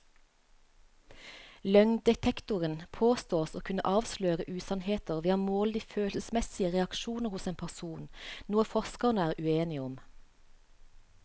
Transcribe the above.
Løgndetektoren påstås å kunne avsløre usannheter ved å måle de følelsesmessige reaksjoner hos en person, noe forskerne er uenige om.